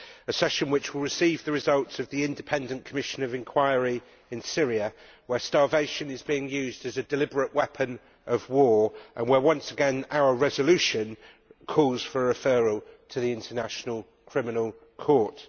This is a session which will receive the results of the Independent Commission of Inquiry in Syria, where starvation is being used as a deliberate weapon of war and where, once again, our resolution calls for referral to the International Criminal Court.